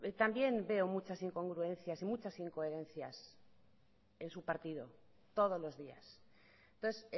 también veo muchas incongruencias y muchas incoherencias en su partido todos los días entonces